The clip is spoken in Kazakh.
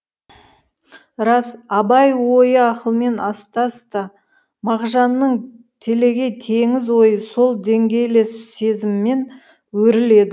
рас абай ойы ақылмен астас та мағжанның телегей теңіз ойы сол деңгейлес сезіммен өріледі